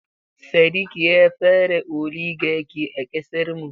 Sadiq ya fara oligaki a ƙasar mu.